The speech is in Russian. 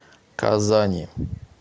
казани